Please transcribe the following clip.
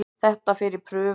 Þetta fer í prufi.